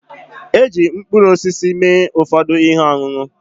Eji mkpụrụosisi mee ụfọdụ ihe ọṅụṅụ